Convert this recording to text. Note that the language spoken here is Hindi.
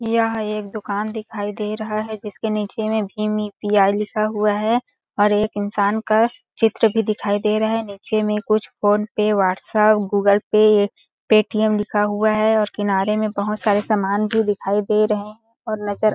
''यह एक दुकान दिखाई दे रहा है जिसके नीचे में भीम इ यु.पी.ई. लिखा हुआ है और एक इंसान का चित्र भी दिखाई दे रहे है नीचे में कुछ PhonePe WhatsApp Google Pay Paytm लिखा हुआ है और किनारे में बहोत सारे सामान भी दिखाई दे रहे और नज़र--''